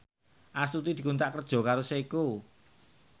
Astuti dikontrak kerja karo Seiko